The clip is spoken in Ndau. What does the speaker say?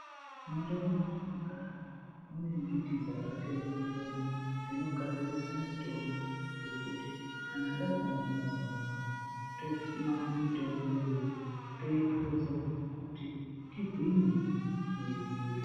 Mundau metinogara mune mbiti dzakasiyana siyana dzinogadzirisa mitombo yekuti kana tazwa muzwazwazwa tomwa mitombo iyoyo toipuza kuti tigwinye mwiri dzedu.